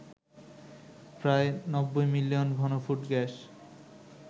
প্রায় ৯০ মিলিয়ন ঘনফুট গ্যাস